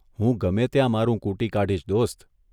હું ગમે ત્યાં મારું કૂટી કાઢીશ, દોસ્ત '